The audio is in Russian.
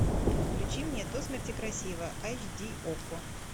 включи мне до смерти красива айч ди окко